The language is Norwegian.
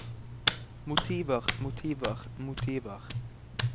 motiver motiver motiver